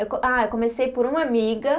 Eu co, ah, eu comecei por uma amiga.